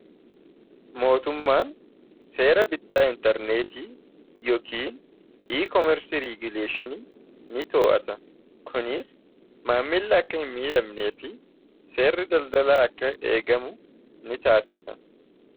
mootummaan seera bittaa intarneetii yookiin ekoomersi reeguleeshin ni too'ata kuniis maammili akka hin miidhabnee fi seerri daldalaa akka eegamu ni taasisa